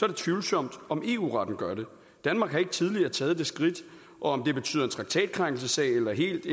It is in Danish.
det tvivlsomt om eu retten gør det danmark har ikke tidligere taget det skridt og om det betyder en traktatkrænkelse eller det helt